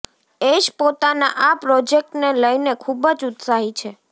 ઐશ પોતાના આ પ્રોજેક્ટને લઈને ખુબ જ ઉત્સાહીત છે